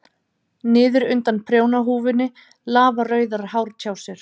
Niður undan prjónahúfunni lafa rauðar hártjásur.